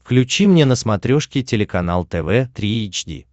включи мне на смотрешке телеканал тв три эйч ди